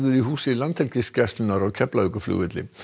í húsi Landhelgisgæslunnar á Keflavíkurflugvelli